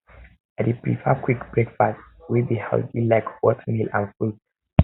i dey prefer quick breakfast wey breakfast wey be healthy like oatmeal and fruits